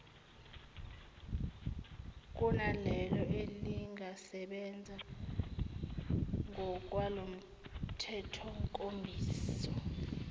kunalelo elingasebenza ngokwalomthethonkambiso